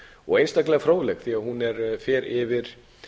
og einstaklega fróðleg því að hún fer yfir